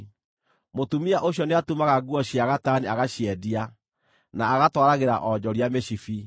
Mũtumia ũcio nĩatumaga nguo cia gatani agaciendia, na agatwaragĩra onjoria mĩcibi.